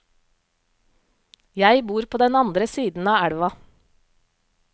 Jeg bor på den andre siden av elva.